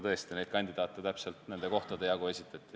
Tõesti, kandidaate esitati täpselt nende kohtade jagu.